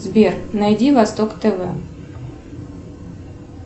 сбер найди восток тв